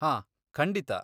ಹಾಂ, ಖಂಡಿತ.